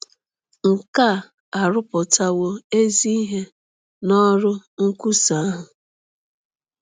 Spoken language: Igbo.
Nke a arụpụtawo ezi ihe n’ọrụ nkwusa ahụ.